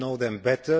You know them best